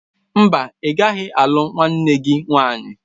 Mba, ị gaghị alụ nwanne gị nwanyị.